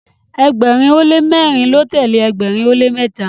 ẹgbẹrin o le mẹrin ló telee ẹgbẹrin o le mẹta